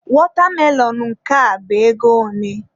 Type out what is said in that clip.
Watermelon nke a bụ ego ole?